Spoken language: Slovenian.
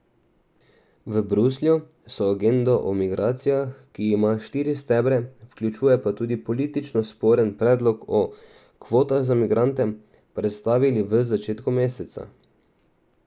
V Bruslju so agendo o migracijah, ki ima štiri stebre, vključuje pa tudi politično sporen predlog o kvotah za migrante, predstavili v začetku meseca.